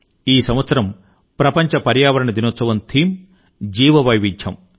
ఈ సంవత్సరం ప్రపంచ పర్యావరణ దినోత్సవం థీమ్ జీవ వైవిధ్యం